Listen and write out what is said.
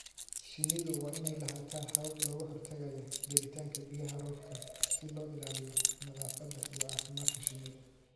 Shinnidu waa inay lahaataa habab looga hortagayo gelitaanka biyaha roobka si loo ilaaliyo nadaafadda iyo caafimaadka shinnida.